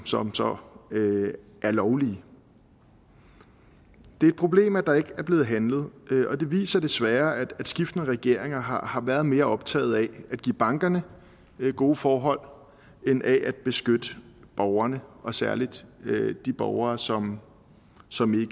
som så er lovligt det er et problem at der ikke er blevet handlet og det viser desværre at skiftende regeringer har har været mere optaget af at give bankerne gode forhold end af at beskytte borgerne og særlig de borgere som som